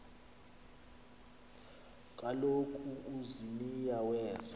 kaloku uziniya weza